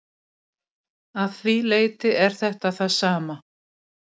Að því leyti er þetta það sama.